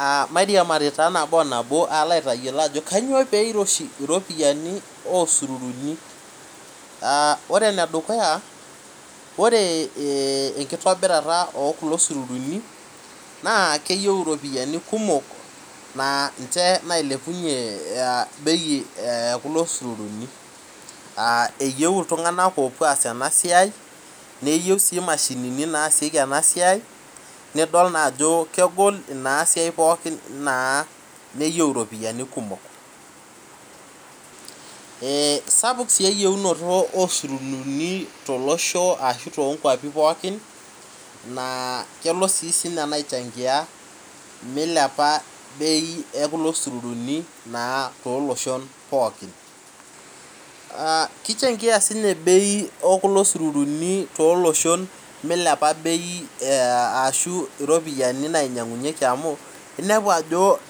Aah mairiamari taa nabo o nabo alo aitayiolo ajo peiroshi iropiani osururuni Ore enedukuya ore enkitobirata ookulo sururuni naa keyieu iropiani kumok naa ninche nailepunye bei e kulo sururuni Eyieu iltung'anak oopuo aas ena siai neyieu sii imashinini naasieki ena siai nidol naajo kegol inasiai pookin naa neyieu iropiyiani kumok Eeh sapuk sii eyieunoto osururuni tolosho ashu toongwapi pookin naa kelo sii sininye ena aichangia milepq bei ekulo sururuni naa tooloshon pookin Kichangia siininye bei ekulo sururuni milepa bei aa ashu iropiani nainyang'unyeki amu inepu ajo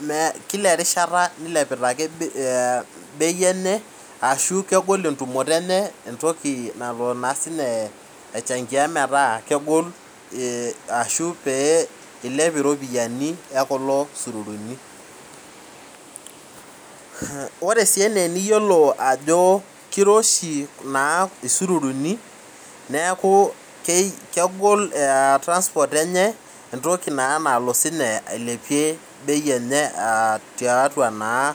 kila erishat nilepita ake bei enye ashu kegol entumoto enye ina entoki nalo naa siininye aichangia metaa kegol ashu pee ilep iropiani e kulo sururuni Ore sii enaa eniyiolo ajo kiroshi naa isururuni neeku kegol transport enye entoki naa nalo ailepunye bei enye tiatua naa